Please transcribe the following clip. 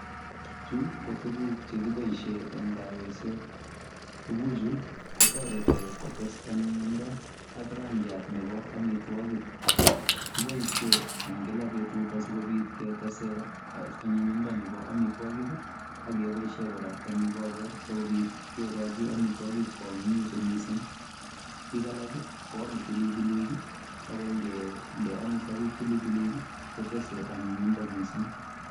Chu ko tuguk chekiboisie eng kayoiset. Tuguchu kotoreti kotes anyinyindo ak rangiat nebo amitwogik. Kiboisie eng kila betut asikobit ketese anyinyindo nebo amitwogik akeboisie kora eng ikorwek sikobit kegochi amitwogik koanyinyitu mising. Bik alak koame bilibilik ako ngende amitwogik pilipilik kotese anyinyindo mising.